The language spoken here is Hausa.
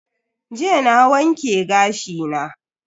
Jiya na wanke gashi na.